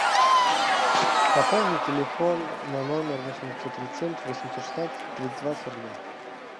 пополни телефон на номер восемь девятьсот тридцать семь восемьсот шестнадцать тридцать два сорок два